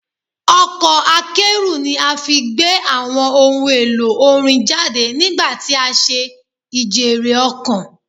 Ọkọ̀ akẹ́rù ni a fi gbé àwọn ohun-èlò orin jáde nígbà tí a ṣe ijèrè-ọ̀kàn.